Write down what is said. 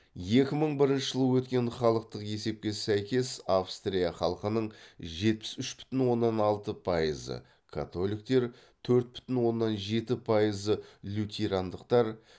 екі мың бірінші жылы өткен халықтық есепке сәйкес австрия халқының жетпіс үш бүтін оннан алты пайызы католиктер төрт бүтін оннан жетпіс пайызы лютерандықтар